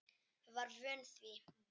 Var vön því.